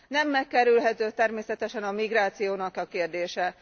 Nem megkerülhető természetesen a migrációnak a kérdése.